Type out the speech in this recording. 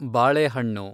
ಬಾಳೆಹಣ್ಣು